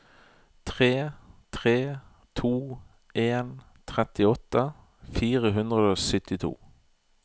tre tre to en trettiåtte fire hundre og syttito